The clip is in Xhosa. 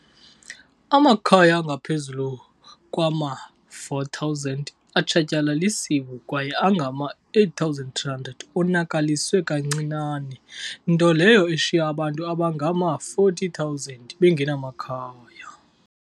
Amakhaya angaphezulu kwama-4 000 atshatyalalisiwe kwaye angama-8 300 onakaliswe kancinane, nto leyo eshiye abantu abangama-40 000 bengenamakhaya.